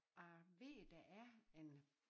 Jeg ved der er en